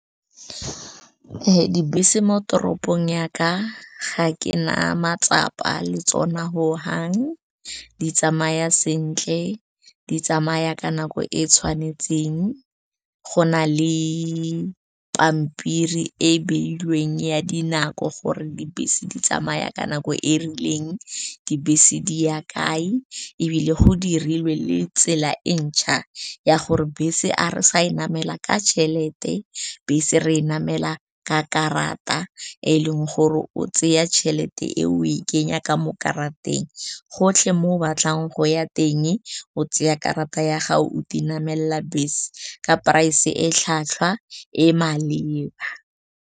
Dibese mo toropong yaka ga ke na matsapa le tsona ho hang, di tsamaya sentle, di tsamaya ka nako e e tshwanetseng. Go na le pampiri e e beilweng ya dinako gore dibese di tsamaya ka nako e rileng, dibese di ya kae, ebile go dirilwe le tsela e ntšha ya gore bese a re sa e namela ka tšhelete, bese re e namela ka karata, e leng gore o tseya tšhelete eo o e kenya ka mo karateng. Gotlhe mo o batlang go ya teng, tseya karata ya gago o te namelela bese ka price-e e tlhwatlhwa, e e maleba.